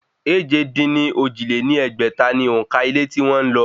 Èje-dín-ní-ojì lé ní ẹgbẹ́ta ni òǹkà ilé tí wọn ń lọ